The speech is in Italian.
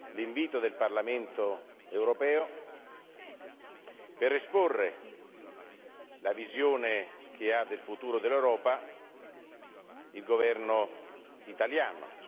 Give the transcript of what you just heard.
l'invito del Parlamento europeo per esporre la visione che ha del futuro dell'Europa il governo italiano.